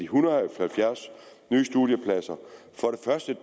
hundrede og halvfjerds nye studiepladser